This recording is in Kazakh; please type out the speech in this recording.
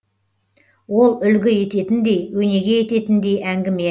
ол үлгі ететіндей өнеге ететіндей әңгіме